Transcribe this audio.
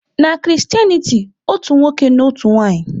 Na Christianity, otu nwoke na otu nwanyị.